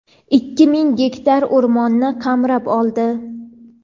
ikki ming gektar o‘rmonni qamrab oldi.